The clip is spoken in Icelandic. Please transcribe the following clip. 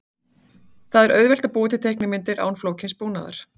Það er auðvelt að búa til teiknimyndir án flókins búnaðar.